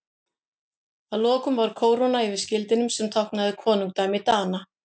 Að lokum var kóróna yfir skildinum sem táknaði konungdæmi Dana.